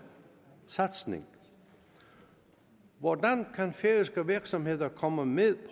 satsning hvordan kan færøske virksomheder komme med